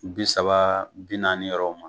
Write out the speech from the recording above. Bi saba bi naani yɔrɔ ma